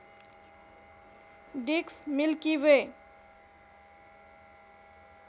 disk Milky way